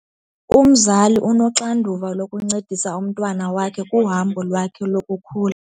Umzali unoxanduva lokuncedisa umntwana wakhe kuhambo lwakhe lokukhula.